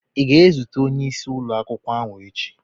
Ị ga-ezute onyeisi ụlọ akwụkwọ ahụ echi?